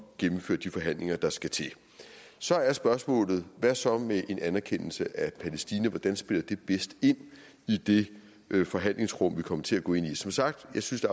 gennemføre de forhandlinger der skal til så er spørgsmålet hvad så med en anerkendelse af palæstina hvordan spiller det bedst ind i det forhandlingsrum vi kommer til at gå ind i som sagt synes